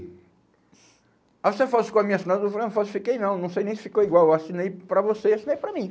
Aí você falsificou a minha assinatura, eu falei, não falsifiquei não, não sei nem se ficou igual, eu assinei para você e assinei para mim.